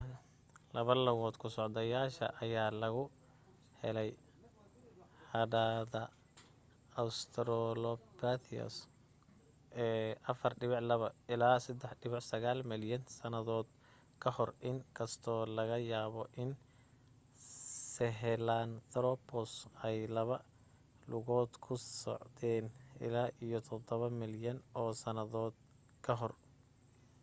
laba lugood ku socdayaasha ayaa laga helay hadhaada australopithecus ee 4.2-3.9 milyan sannadood ka hor in kastoo laga yaabo in sahelanthropus ay laba lugood ku socdeen ilaa iyo 7 milyan oo sannadood ka hor